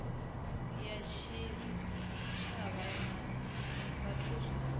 ya tshitshavha na zwithu zwa